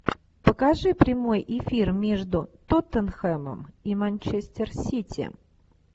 покажи прямой эфир между тоттенхэмом и манчестер сити